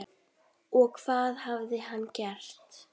Og hvað hafði hann gert?